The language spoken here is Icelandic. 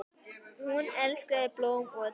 Hún elskaði blóm og dýr.